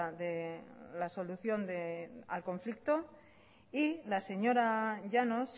de la solución al conflicto y la señora llanos